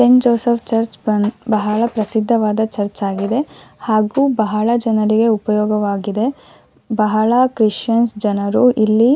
scent Joseph church ಬಂದ್ ಬಹಳ ಪ್ರಸಿದ್ದವಾದ ಚರ್ಚ್ ಆಗಿದೆ ಹಾಗು ಬಹಳ ಜನರಿಗೆ ಉಪಯೋಗವಾಗಿದೆ ಕ್ರಿಶ್ಚನ್ ಜನರು ಇಲ್ಲಿ--